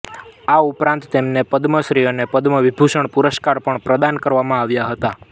આ ઉપરાંત તેમને પદ્મશ્રી અને પદ્મવિભૂષણ પુરસ્કાર પણ પ્રદાન કરવામાં આવ્યા હતા